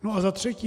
No a za třetí.